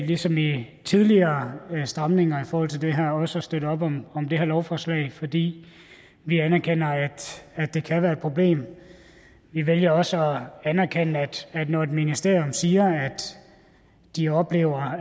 ligesom ved tidligere stramninger i forhold til det her også at støtte op om det her lovforslag fordi vi anerkender at det kan være et problem vi vælger også at anerkende når et ministerium siger at de oplever